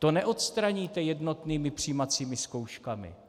To neodstraníte jednotnými přijímacími zkouškami.